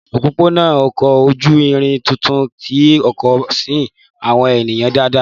Òpópónà ọkọ̀ ojú irin tuntun ti Èkó tí ń sin àwọn ènìyàn dáadáa